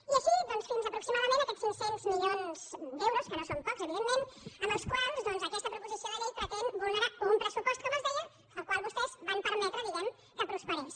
i així doncs fins a aproximadament aquests cinc cents mi·lions d’euros que no són pocs evidentment amb els quals aquesta proposició de llei pretén vulnerar un pressupost com els deia que vostès van permetre di·guem·ne que prosperés